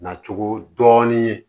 Na cogo dɔɔnin ye